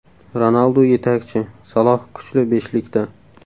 Ronaldu yetakchi, Saloh kuchli beshlikda !